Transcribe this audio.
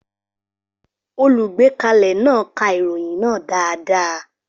Olùgbékalẹ̀ náà ka ìròyìn náà dáadáa.